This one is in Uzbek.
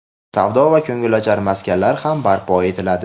savdo va ko‘ngilochar maskanlar ham barpo etiladi.